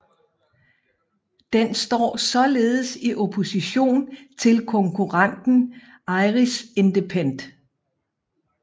Den står således i opposition til konkurrenten Irish Independent